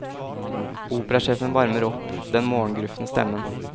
Operasjefen varmer opp den morgengrufne stemmen.